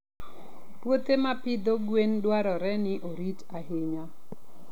Puothe ma pidho gwen dwarore ni orit ahinya.